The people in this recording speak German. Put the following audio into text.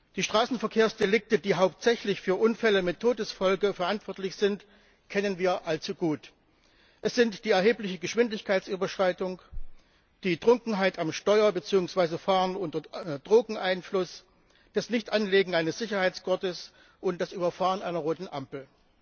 Die Straßenverkehrsdelikte, die hauptsächlich für Unfälle mit Todesfolge verantwortlich sind, kennen wir allzu gut. Es sind die erhebliche Geschwindigkeitsüberschreitung, die Trunkenheit am Steuer bzw. das Fahren unter Drogeneinfluss, das Nichtanlegen eines Sicherheitsgurtes und das Überfahren einer roten Ampel.